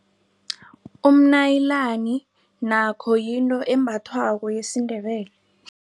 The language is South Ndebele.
Umnayilani nakho yinto embathwako yesiNdebele.